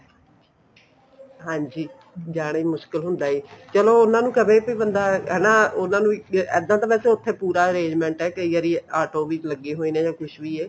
ਹਾਂਜੀ ਜਾਣਾ ਮੁਸ਼ਕਿਲ ਹੁੰਦਾ ਹੈ ਚਲੋ ਉਹਨਾ ਨੂੰ ਕਹੇ ਵੀ ਬੰਦਾ ਹਨਾ ਉਹਨਾ ਨੂੰ ਇੱਕ ਇੱਦਾਂ ਤਾਂ ਉੱਥੇ ਵੈਸੇ ਪੂਰਾ arrangement ਹੈ ਕਈ ਵਾਰੀ auto ਵੀ ਲੱਗੇ ਹੋਏ ਨੇ ਕੁੱਝ ਵੀ ਨੇ